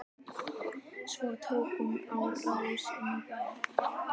Svo tók hún á rás inn í bæ.